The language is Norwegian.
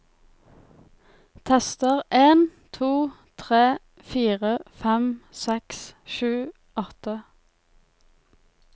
Tester en to tre fire fem seks sju åtte